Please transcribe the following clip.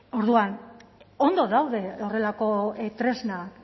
orduan ondo daude horrelako tresna